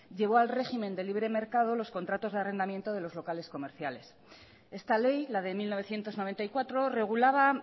llevó al régimen del libre mercado los contratos de arrendamientos de los locales comerciales esta ley la de mil novecientos noventa y cuatro regulaba